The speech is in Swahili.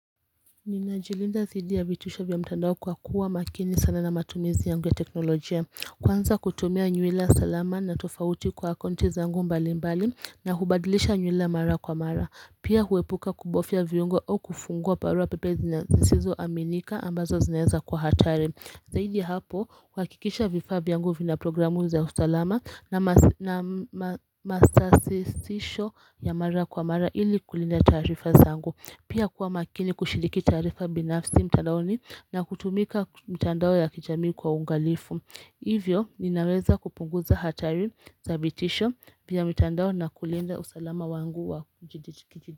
Nina jilinda zidi ya vitusha vya mtandao kwa kuwa makini sana na matumizi yangu ya teknolojia Kwanza kutumia nyuwila salama na tofauti kwa akonti zangu mbali mbali na hubadilisha nyuwila mara kwa mara Pia huepuka kubofia viungo au kufungua parua pepe zina zizizo aminika ambazo zineza kwa hatari Zahidi hapo kwakikisha vifa vyangu vina programu za usalama na masasisisho ya mara kwa mara ili kulinda tarifa zangu Pia kuwa makini kushiliki tarifa binafsi mtandaoni na kutumika mtandao ya kijamii kwa ungalifu. Hivyo, ninaweza kupunguza hatari za vitisho vya mtandao na kulinda usalama wangu wa kujidi.